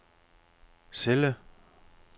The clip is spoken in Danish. celle